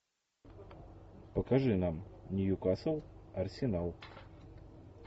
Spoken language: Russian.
покажи нам ньюкасл арсенал